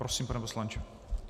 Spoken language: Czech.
Prosím, pane poslanče.